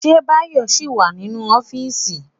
Ṣé Báyọ̀ ṣì wà nínú ọ́fíìsì?